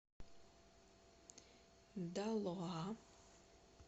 далоа